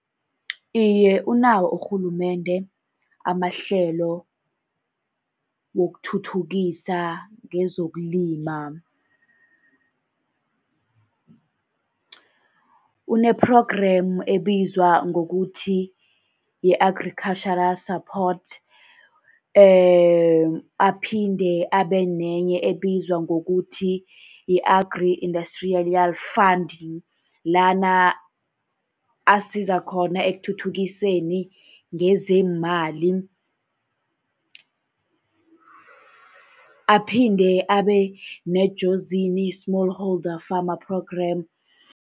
Iye, unawo urhulumende amahlelo wokuthuthukisa ngezokulima. Une-programme ebizwa ngokuthi yi-Agricultural Support, aphinde abe nenye ebizwa ngokuthi yi-Agri-Industrial Fund. Lana asiza khona ekuthuthukiseni ngezeemali, aphinde abe neJozini Small Holder Farmer Programme.